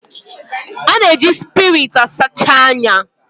A na-eji spiriit a sacha ọnya